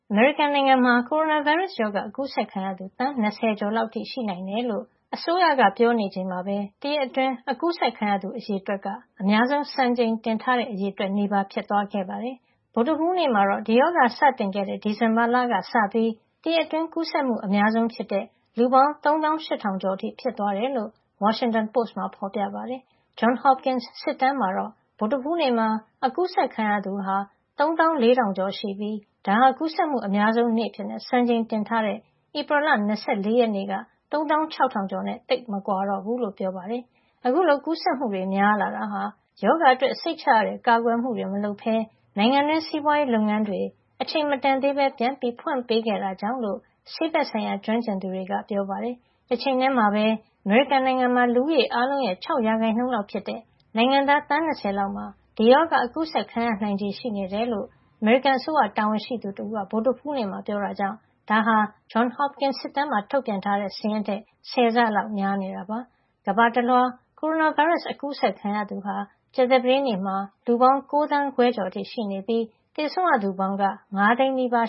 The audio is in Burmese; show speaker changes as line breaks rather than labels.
အမေရိကန်နိုင်ငံမှာကိုရိုနာဗိုင်းရပ်စ် ရောဂါ အကူးစက်ခံရသူ သန်း ၂၀ ကျော် လောက်အထိ ရှိနိုင်တယ်လို့ အစိုးရက ပြောဆိုနေချိန်မှာပဲ တရက်အတွင်း အကူးစက်ခံရသူ အရေအတွက်က အများဆုံးစံချိန်တင်ထားတဲ့ အရေအတွက် နီးပါးဖြစ်သွားခဲ့ပါတယ်။ ဗုဒ္ဓဟူးနေ့မှတော့ ဒီရောဂါ စတင်ခဲ့တဲ့ ဒီဇင်ဘာလ ကစပြီး တရက်အတွင်း ကူးစက်မှု အများဆုံးဖြစ်တဲ့ လူပေါင်း သုံးသောာင်းရှစ်ထောင်ကျော် အထိ ဖြစ်သွားတယ်လို့ Washington Post မှာ ဖေါ်ပြထားပါတယ်။ Johns Hopkins စစ်တမ်းမှာတော့ ဗုဒ္ဓဟူးနေ့မှာ အကူးစက်ခံရသူ (၃၄,၃၀၀) ရှိပြီး ဒါဟာ ကူးစက်မှုအများဆုံး နေ့အဖြစ် စံချိန်တင်ထားတဲ့ ဧပြီလ ၂၄ ရက်က (၃၆,၄၀၀) နဲ့ သိပ်မကွာတော့ဘူးလို့ဆိုပါတယ်။ အခုလို ကူးစက်မှု များလာတာဟာ ရောဂါအတွက် စိတ်ချရတဲ့ကာကွယ်မှုတွေ မလုပ်ပဲ နိုင်ငံတွင်း စီးပွားရေးလုပ်ငန်းတွေ အချိန်မတန်သေးပဲ ပြန်ဖွင့်ပေးခဲ့တာကြောင့်လို့ ဆေးဘက်ဆိုင်ရာ ကျွမ်းကျင်သူတွေက ပြောပါတယ်။ တချိန်ထည်းမှာပဲ အမေရိကန်နိုင်ငံမှာ လူဦးရေ အားလုံးရဲ့ ၆ % လောက် ဖြစ်တဲ့ နိုင်ငံသား သန်း ၂၀ လောက်မှာ ဒီရောဂါ အကူးစက်ခံရ နိုင်ချေရှိနေတယ်လို့ အမေရိကန်အစိုးရ တာဝန်ရှိသူ တဦးက ဗုဒ္ဓဟူးနေ့မှာ ပြောတာကြောင့် ဒါဟာ Johns Hopkins တက္ကသိုလ် တရားဝင် ထုတ်ပြန်ထားတဲ့ စာရင်းထက် ဆယ်ဆလောက် များနေတာပါ။ ကမ္ဘာတလွှား ကိုရိုနာဗိုင်းရပ်စ် အကူးစက်ခံရသူဟာ ကြာသပတေးနေ့မှာ လူပေါင်း ၉ သန်းခွဲကျော် (၉,၅၀၅,၇၈၈) ရှိနေပြီး သေဆုံးရသူပေါင်းက ၅ သိန်းနီးပါး